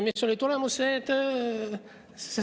Mis oli tulemus?